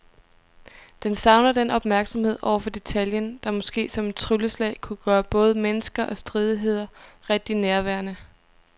Den savner den opmærksomhed over for detaljen, der måske som et trylleslag kunne gøre både mennesker og stridigheder rigtig nærværende.